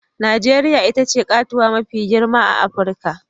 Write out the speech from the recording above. Najeriya ita ce katuwa mafi girma a Afirka